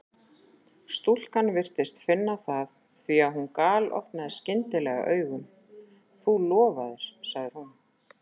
Stúlkan virtist finna það því að hún galopnaði skyndilega augun: Þú lofaðir sagði hún.